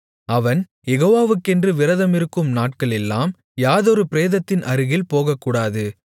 அவன் யெகோவாவுக்கென்று விரதமிருக்கும் நாட்களெல்லாம் யாதொரு பிரேதத்தின் அருகில் போகக்கூடாது